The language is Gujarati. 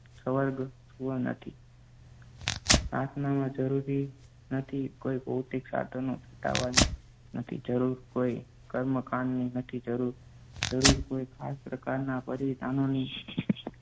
નથી પ્રાર્થનામાં જરૂરી નથી કોઈ ભૌતિક સાધનો ચુંટાવવાની, નથી જરૂર કોઈ કર્મકાંડની, નથી જરૂર જરૂર કોઈ ખાસ પ્રકારના બલિદાનોની